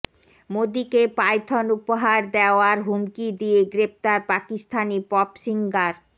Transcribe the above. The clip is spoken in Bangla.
মোদীকে পাইথন উপহার দেওয়ার হুমকি দিয়ে গ্রেফতার পাকিস্তানি পপ সিঙ্গার